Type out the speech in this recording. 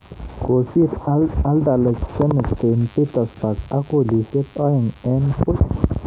Kosir Anderlecht Zenit St. Petersburg ak kolisyek aeng eng puch